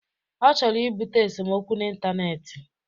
Ọ chọrọ ibute esomokwu n'intaneeti.